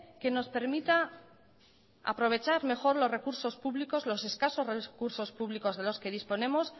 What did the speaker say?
que nos permita aprovechar mejor los recursos públicos los escasos recursos públicos de los que disponemos